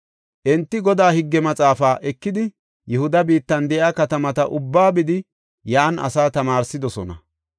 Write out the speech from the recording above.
Enti Godaa higge maxaafa ekidi Yihuda biittan de7iya katamata ubbaa bidi yan asaa tamaarsidosona.